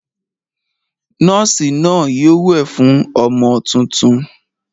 Nọ́ọ́sì náà yóò wẹ̀ fún ọmọ tuntun.